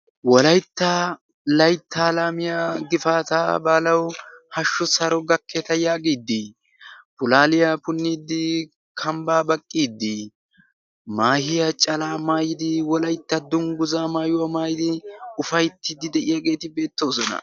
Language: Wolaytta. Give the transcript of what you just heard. wolaytta laittaalaamiya gifaata baalawu hashshu saro gakkeeta yaagiiddi pulaaliyaa punniiddi kambbaa baqqiiddi maahiya calaa maayidi wolaitta dungguza maayuwaa maayidi ufayttiddi de7iyaageeti beettoosona